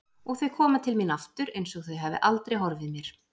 Og þau koma til mín aftur einsog þau hafi aldrei horfið mér.